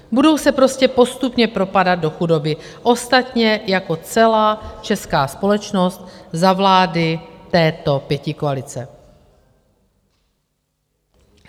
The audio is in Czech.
Budou se prostě postupně propadat do chudoby, ostatně jako celá česká společnost za vlády této pětikoalice.